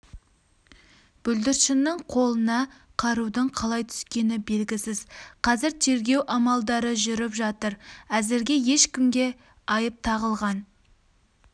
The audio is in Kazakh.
бүлдіршіннің қолына қарудың қалай түскені белгісіз қазір тергеу амалдары жүріп жатыр әзірге ешкімге айып тағылған